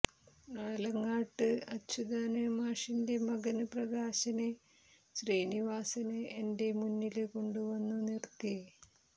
ആലങ്ങാട്ട് അച്യുതന് മാഷിന്റെ മകന് പ്രകാശനെ ശ്രീനിവാസന് എന്റെ മുന്നില് കൊണ്ടുവന്നുനിര്ത്തി